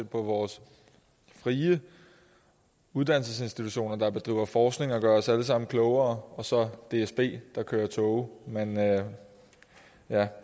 på vores frie uddannelsesinstitutioner der bedriver forskning og gør os alle sammen klogere og så dsb der kører tog men ja